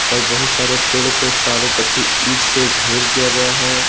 और बहुत सारे पेड़ को चारों पट्टी ईट से घेर दिया गया है।